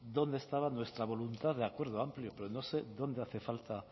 dónde estaba nuestra voluntad de acuerdo amplio pero no sé dónde hace falta